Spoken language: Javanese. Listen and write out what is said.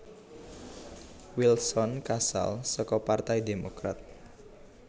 Wilson kaasal saka partai Demokrat